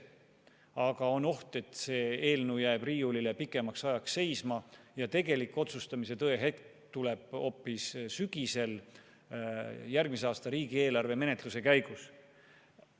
Samas on oht, et eelnõu jääb riiulile pikemaks ajaks seisma ja tegelik otsustamise tõehetk tuleb hoopis sügisel järgmise aasta riigieelarve menetluse käigus.